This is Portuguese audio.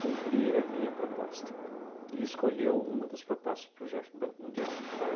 cumprir a minha proposta e escolheu uma das propostas para o jefe do Banco Mundial, tá,